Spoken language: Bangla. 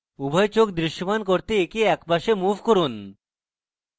উভয় চোখ দৃশ্যমান করতে একে একপাশে move করুন